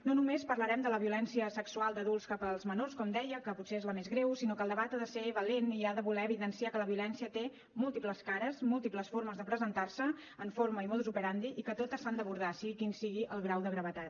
no només parlarem de la violència sexual d’adults cap als menors com deia que potser és la més greu sinó que el debat ha de ser valent i ha de voler evidenciar que la violència té múltiples cares múltiples formes de presentar se en forma i modus operandi i que totes s’han d’abordar sigui quin sigui el grau de gravetat